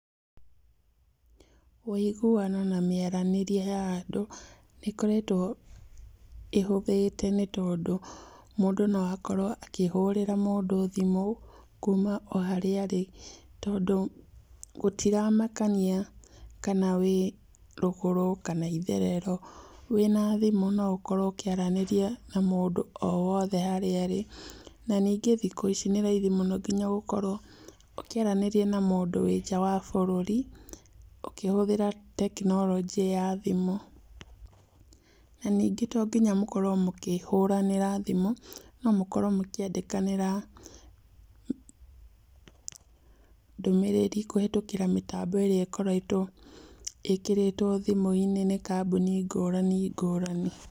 Ũiguano na mĩaranĩrie ya andũ, nĩĩkoretwo ĩhũthĩte nĩtondũ, mũndũ noakorwo akĩhũrĩra mũndũ thimũ, kuuma oharĩa arĩ, tondũ gũtiramakania kana wĩrũgũrũ kana wĩitherero, wĩna thimũ noũkorwo ũkĩaranĩrĩa na mũndũ arĩ oharĩa arĩ, na ningĩ thikũ ici, nĩ raithi mũno gũkorwo ũkĩaranĩria na mũndũ wĩnja wa bũrũri, ũkĩhũthĩra tekinoronjĩ ya thimũ. Na ningĩ tonginya mũkorwo mũkĩaranĩria na thimũ, nomũkorwo mũkĩandĩkanĩra ndũmĩrĩri kũhetũkĩra tekinoronjĩ ĩrĩa ĩkoretwo ikĩrĩtwo thimũ-inĩ nĩ kambuni ngũrani, ngũrani.